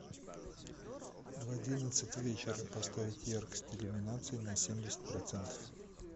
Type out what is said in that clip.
в одиннадцать вечера поставить яркость иллюминации на семьдесят процентов